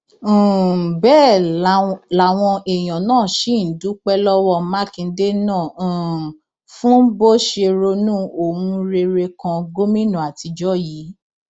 um bẹẹ làwọn èèyàn náà ṣì ń dúpẹ lọwọ mákindè náà um fún bó ṣe ronú ohun rere kan gómìnà àtijọ yìí